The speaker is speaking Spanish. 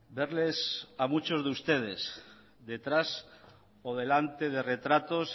verles a muchos de ustedes detrás o delante de retratos